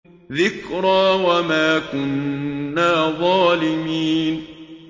ذِكْرَىٰ وَمَا كُنَّا ظَالِمِينَ